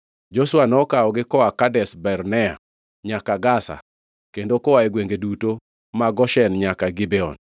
Joshua nokawogi koa Kadesh Barnea nyaka Gaza kendo koa e gwenge duto ma Goshen nyaka Gibeon.